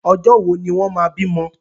Ọjọ́ wo ni wọ́n máa bímọ?